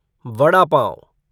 वादा पाव